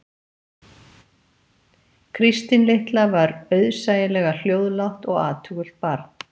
Kristín litla var auðsæilega hljóðlátt og athugult barn